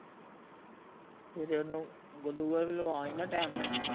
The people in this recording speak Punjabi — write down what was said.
ਸਵੇਰੇ ਉਹਨੂੰ glucose ਵੀ ਲਵਾਂ ਆਈ ਨਾ ਟੈਮ ਨਾਲ਼ ਈ